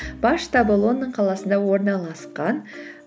бас штабы лондон қаласында орналасқан